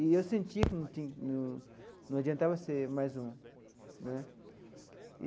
E eu senti que não tinha num num adiantava ser mais um né.